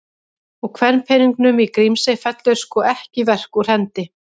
Og kvenpeningnum í Grímsey fellur sko ekki verk úr hendi.